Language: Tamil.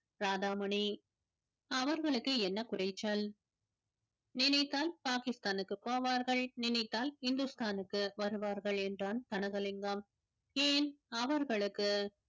அவர்களுக்கு என்ன குறைச்சல் நினைத்தால் பாகிஸ்தானுக்கு போவார்கள் நினைத்தால் ஹிந்துஸ்தானுக்கு வருவார்கள் என்றான் கனகலிங்கம் ஏன் அவர்களுக்கு